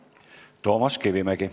Toomas Kivimägi.